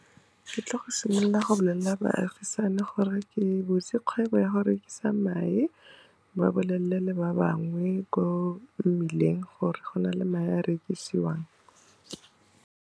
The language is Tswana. Ke tlile go simolola go bolelela baagisane gore ke butse kgwebo ya go rekisa mae, ba bolelele le ba bangwe ko mmileng gore go na le mae a rekisiwang.